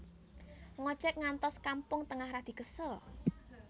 Ngojek ngantos Kampung Tengah radi kesel